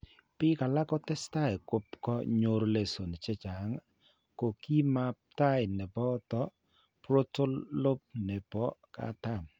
Biik alak ko testai kopko nyoru lesions chechang', ko kiimap tai ne boto frontal lobe ne po katam.